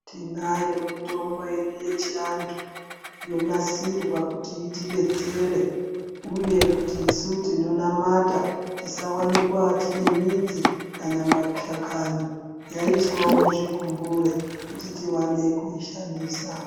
Tinayo mitombo yedu yechiantu yonasirwa kuti itidetsere, uye kuti isu tino namata tisawanikwe tine midzi kana mashakani yaiswa muzvikumbure kuti tiwane kuishandisa.